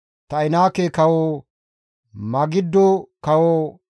Ta7inaake kawo, Magiddo kawo,